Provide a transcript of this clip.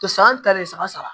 To san ta de saba saba